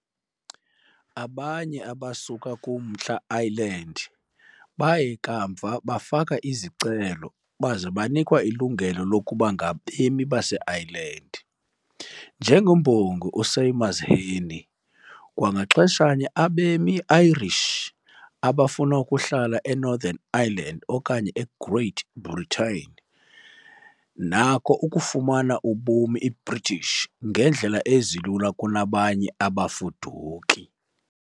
Abanye abasuka kuMntla Ireland baye kamva bafaka izicelo baza banikwa ilungelo lokuba ngabemi baseIreland, njengembongi uSéamus Heaney, kwangaxeshanye, abemi Irish abafuna ukuhlala Northern Ireland okanye Great Britain nako ukufumana ubumi British ngeendlela ezilula kunabanye abafuduki.